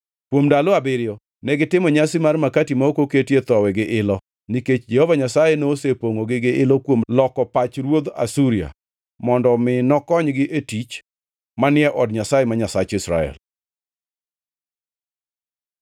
Kuom ndalo abiriyo, negitimo Nyasi mar Makati ma ok oketie thowi gi ilo, nikech Jehova Nyasaye nosepongʼogi gi ilo kuom loko pach ruodh Asuria, mondo omi nokonygi e tich manie od Nyasaye, ma Nyasach Israel.